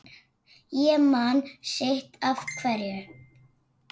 Ég man sitt af hverju